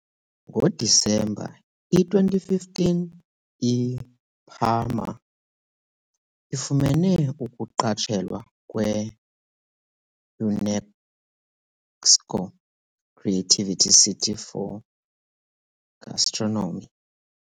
NgoDisemba i -2015 iParma ifumene ukuqatshelwa kwe " UNESCO Creative City for Gastronomy".